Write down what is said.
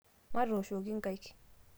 matooshoki nkaik